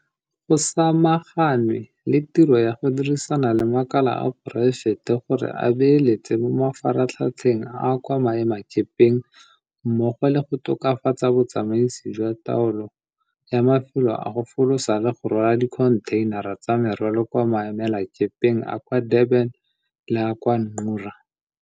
Go samaganwe le tiro ya go dirisana le makala a poraefete gore a beeletse mo mafaratlhatlheng a kwa maemakepeng mmogo le go tokafatsa botsamaisi jwa taolo ya mafelo a go folosa le go rwala dikhontheinara tsa merwalo kwa maemelakepeng a kwa Durban le a kwa Ngqura.